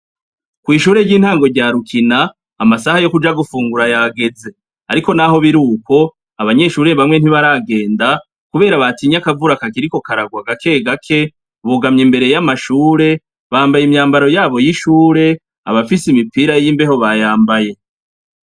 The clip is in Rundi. Kw'ishure ry'intango rya rukina amasaha yokuja gufungura yageze ,ariko naho biruko ,abanyeshure bamwe ntibaragenda, kubera batinye akavura kakiriko karahwa gake gake, bugamye imbere y'amashure, bambaye imyambaro yabo y'ishuri, abafise impira y'imbeho bayambaye.